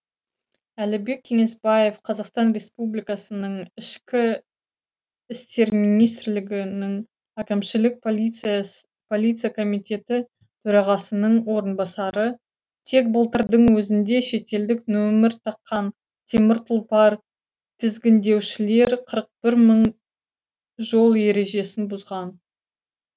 әлібек кеңесбаев қазақстан республикасының ішкі істер министрлігінің әкімшілік полиция комитеті төрағасының орынбасары тек былтырдың өзінде шетелдік нөмір таққан темір тұлпар тізгіндеушілер қырық бір мың жол ережесін бұзған